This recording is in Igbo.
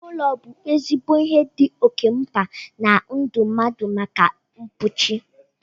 Iwu ụlọ bụ ezigbo ihe dị oké mkpa na ndụ mmadụ maka mkpuchi